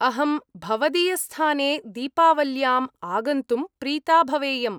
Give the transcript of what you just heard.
अहं भवदीयस्थाने दीपावल्याम् आगन्तुं प्रीता भवेयम्।